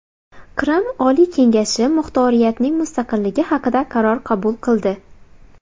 Qrim Oliy kengashi muxtoriyatning mustaqilligi haqida qaror qabul qildi.